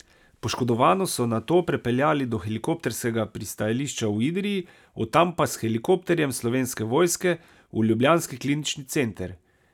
Poškodovano so nato prepeljali do helikopterskega pristajališča v Idrij, od tam pa s helikopterjem Slovenske vojske v ljubljanski klinični center.